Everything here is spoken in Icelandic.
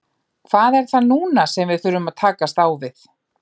Hvað er það núna sem við þurfum að takast á við?